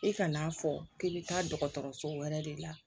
I kan'a fɔ k'i bɛ taa dɔgɔtɔrɔso wɛrɛ de la